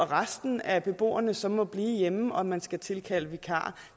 resten af beboerne så må blive hjemme og man skal tilkalde vikarer